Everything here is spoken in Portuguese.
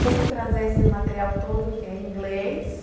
Como trazer esse material todo que é em inglês